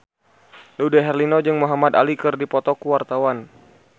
Dude Herlino jeung Muhamad Ali keur dipoto ku wartawan